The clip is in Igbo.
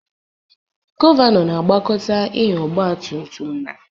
Gọvanọ na-agbakọta ịnya ọgba tum tum na